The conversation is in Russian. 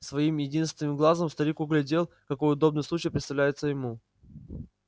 своим единст-венным глазом старик углядел какой удобный случай представляется ему